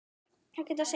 Þeir geta synt.